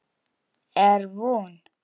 Er von?